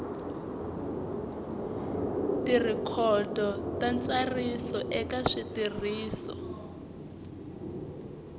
tirhikhodo ta ntsariso eka switirhiso